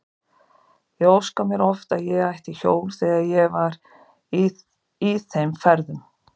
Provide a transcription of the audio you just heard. Ég óskaði mér oft að ég ætti hjól þegar ég var í þeim ferðum.